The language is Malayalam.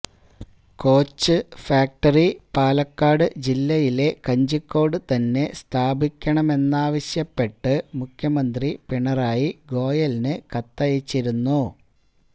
കോച്ച് ഫാക്ടറി പാലക്കാട് ജില്ലയിലെ കഞ്ചിക്കോട് തന്നെ സ്ഥാപിക്കണമെന്നാവശ്യപ്പെട്ട് മുഖ്യമന്ത്രി പിണറായി ഗോയലിന് കത്തയച്ചിരുന്നു